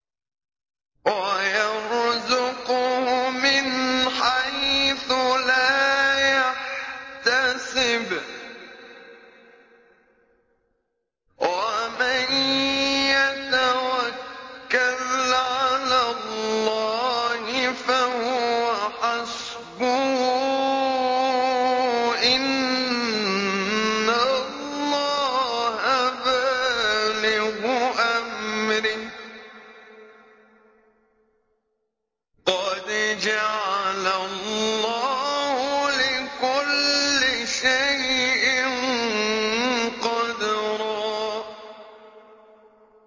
وَيَرْزُقْهُ مِنْ حَيْثُ لَا يَحْتَسِبُ ۚ وَمَن يَتَوَكَّلْ عَلَى اللَّهِ فَهُوَ حَسْبُهُ ۚ إِنَّ اللَّهَ بَالِغُ أَمْرِهِ ۚ قَدْ جَعَلَ اللَّهُ لِكُلِّ شَيْءٍ قَدْرًا